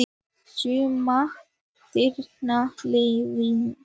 Suma þeirra allavega.